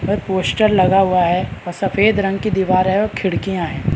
पे पोस्टर लगा हुआ है सफेद रंग की दीवार है और खिड़कियाँ हैं ।